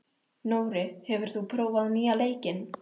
Nóri, hefur þú prófað nýja leikinn?